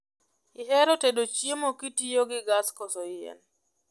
Ihero tedo chiemo kitiyogi gas koso yien?